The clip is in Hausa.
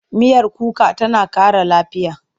Miyar kuka tana ƙara lafiya.